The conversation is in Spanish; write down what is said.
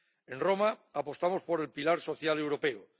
En Roma apostamos por el pilar social europeo.